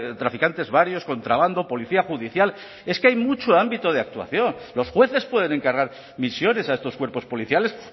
traficantes varios contrabando policía judicial es que hay mucho ámbito de actuación los jueces pueden encargar misiones a estos cuerpos policiales